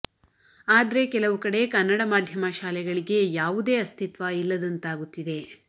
ಆದ್ರೆ ಕೆಲವು ಕಡೆ ಕನ್ನಡ ಮಾಧ್ಯಮ ಶಾಲೆಗಳಿಗೆ ಯಾವುದೇ ಅಸ್ಥಿತ್ವ ಇಲ್ಲದಂತಾಗುತ್ತಿದೆ